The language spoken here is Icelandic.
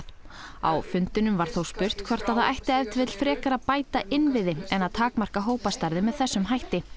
á fundinum var þó spurt hvort að það ætti ef til vill frekar að bæta inniviði en að takmarka hópastærðir með þessum hætti